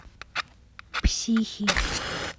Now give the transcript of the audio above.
психи